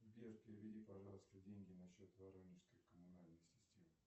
сбер переведи пожалуйста деньги на счет воронежской коммунальной системы